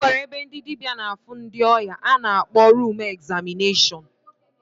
O nweziri ebe ndị dịbịa na-afụ ndị ọya a na-akpọ rum egzamịneshọn.